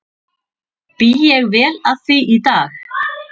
Bý ég vel að því í dag.